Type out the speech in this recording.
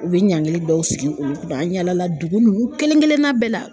U bɛ ɲankili dɔw sigi olu kunna, an yaala la dugu nunnu kelen kelen na bɛɛ la.